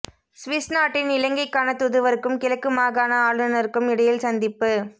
Swiss நாட்டின் இலங்கைக்கான தூதுவருக்கும் கிழக்கு மாகாண ஆளுநருக்கும் இடையில் சந்திப்பு